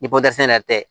Ni ko dɛsɛ yɛrɛ tɛ